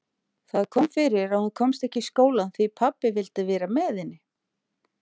Það kom fyrir að hún komst ekki í skólann því pabbi vildi vera með henni.